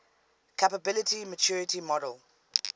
capability maturity model